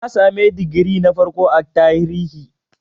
Na sami digiri na farko a Tarihi.